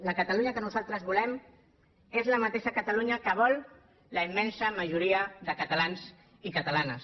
la catalunya que nosaltres volem és la mateixa catalunya que vol la immensa majoria de catalans i catalanes